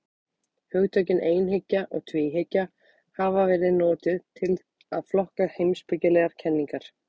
Hugtökin einhyggja og tvíhyggja hafa verið notuð til að flokka heimspekilegar kenningar.